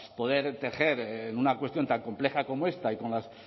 poder tejer en una cuestión tan compleja como esta y con la